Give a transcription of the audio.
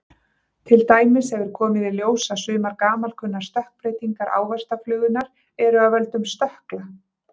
Til dæmis hefur komið í ljós að sumar gamalkunnar stökkbreytingar ávaxtaflugunnar eru af völdum stökkla.